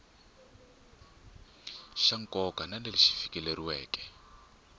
xa nkoka na leswi fikeleriweke